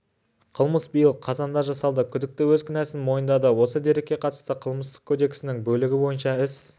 қылмыс биыл қазанда жасалды күдікті өз кінәсін мойындады осы дерекке қатысты қылмыстық кодексінің бөлігі бойынша іс